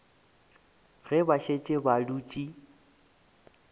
ge ba šetše ba dutše